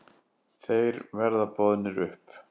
Þeir verða boðnir upp.